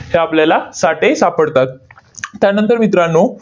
ते आपल्याला साठे सापडतात. त्यानंतर मित्रांनो,